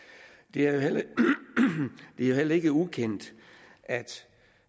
det er jo heller ikke ukendt at